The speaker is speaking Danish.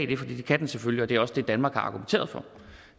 det kan den selvfølgelig og det er også det danmark har argumenteret for